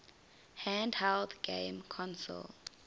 handheld game console